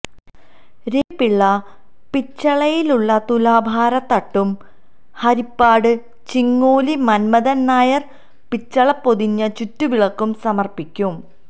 രവി പിള്ള പിച്ചളയിലുള്ള തുലാഭാരതട്ടും ഹരിപ്പാട്ട് ചിങ്ങോലി മന്മഥന് നായര് പിച്ചളപൊതിഞ്ഞ ചുറ്റുവിളക്കും സമര്പ്പിക്കും